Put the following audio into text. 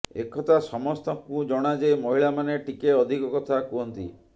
ଏକଥା ସମସ୍ତଙ୍କୁ ଜଣା ଯେ ମହିଳାମାନେ ଟିକେ ଅଧିକ କଥା କୁହନ୍ତି